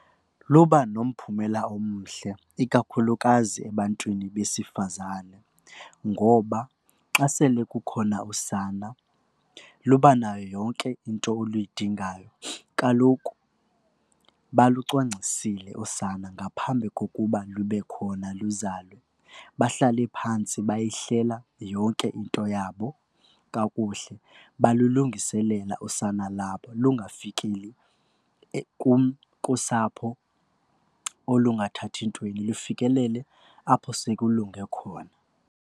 Luba nomphumela omhle ikakhulukazi ebantwini besifazane ngoba xa sele kukhona usana luba nayo yonke into oluyidingayo. Kaloku balucwangcisile usana ngaphambi kokuba lube khona luzalwe. Bahlale phantsi bayihlela yonke into yabo kakuhle balulungiselela usana labo lungafikeli kusapho olungathathi ntweni lufikelele apho sekulungile khona.